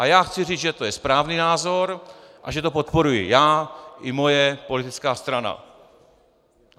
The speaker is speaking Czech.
A já chci říct, že to je správný názor a že to podporuji já i moje politická strana.